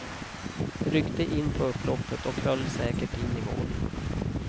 Ryckte in på upploppet och höll säkert in i mål.